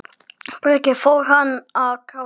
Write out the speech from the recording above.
Breki: Fór hann að gráta?